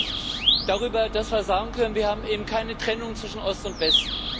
Ich freue mich darüber, dass wir sagen können Wir haben eben keine Trennung zwischen Ost und West.